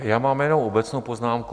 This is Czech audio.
Já mám jenom obecnou poznámku.